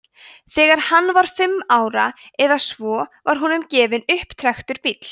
þegar hann var fimm ára eða svo var honum gefinn upptrekktur bíll